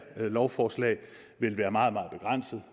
lovforslag vil være meget meget begrænset